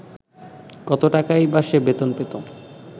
কত টাকাই বা সে বেতন পেত